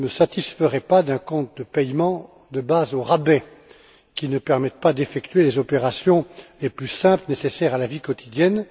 Je ne me satisferai pas d'un compte de paiement de base au rabais qui ne permette pas d'effectuer les opérations les plus simples nécessaires à la vie quotidienne.